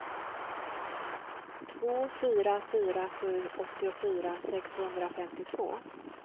två fyra fyra sju åttiofyra sexhundrafemtiotvå